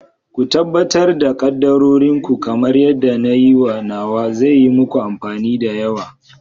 Ku tabbatar da kaddarorin ku kamar yadda na yi nawa, zai yi muku amfani da yawa.